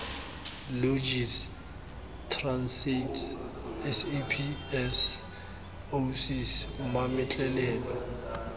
logis transaid saps oasis mametlelelo